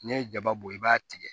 N'i ye jaba bɔ i b'a tigɛ